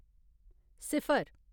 सिफर